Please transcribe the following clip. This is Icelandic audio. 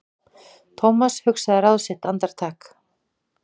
Thomas hugsaði ráð sitt andartak.